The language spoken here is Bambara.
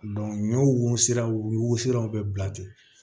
ɲɔ wo wo sira o wo siraw be bila ten